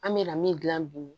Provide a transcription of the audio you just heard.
An bɛ na min dilan bi